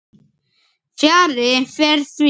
Fjarri fer því.